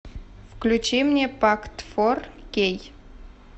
включи мне пакт фор кей